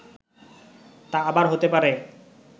তা আবার হতে পারে